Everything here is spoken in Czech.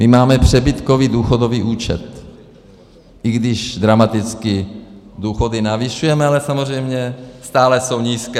My máme přebytkový důchodový účet, i když dramaticky důchody navyšujeme, ale samozřejmě stále jsou nízké.